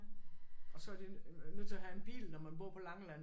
Og så er de nødt til at have en bil når man bor på Langeland